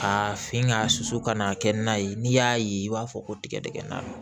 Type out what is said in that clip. A fin ka susu ka na kɛ na ye n'i y'a ye i b'a fɔ ko tigɛdigɛni na